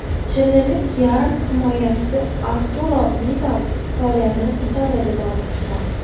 Chililik yarim himoyachi Arturo Vidal faoliyatini Italiyada davom ettiradi.